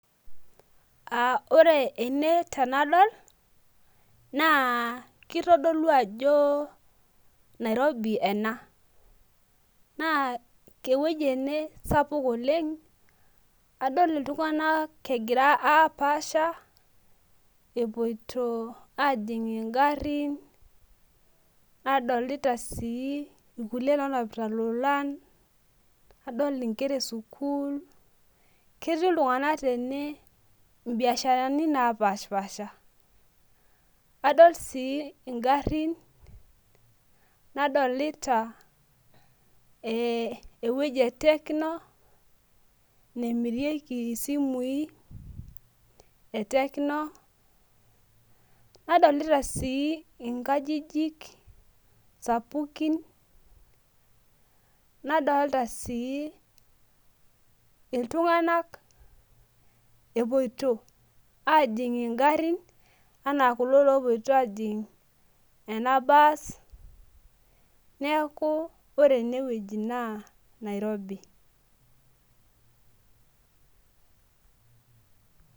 ore ene tenadol na kitodolu ajo nairobi ena, na eweuji ena sapuk oleng, adol iltungana engira apasha, epoito ajing ingarin, adolita si ilkulie onapita ilolan, adol inkera esukul eti iltungana tene ibiasharani napashipasha, adol si ingarin nadolita si eweuji e techno namirieki isimui e techno, nadolita si inkajijik sapukin, nadolita si iltunganak epoito ajing ingarin, ena kulo lopoito ajing ena bus niaku ore ene weuji na nairobi.